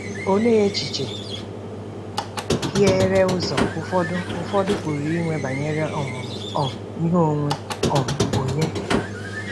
Olee echiche hiere ụzọ ụfọdụ ụfọdụ pụrụ inwe banyere ọmụmụ um ihe onwe um onye?